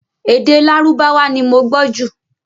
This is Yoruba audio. Èdè Lárúbáwá ni mo gbọ́ jù